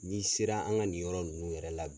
N'i sera an ka nin yɔrɔ ninnu yɛrɛ la